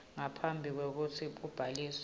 ngaphambi kwekutsi kubhaliswa